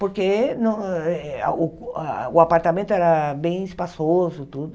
Porque num eh ah o ah o apartamento era bem espaçoso, tudo.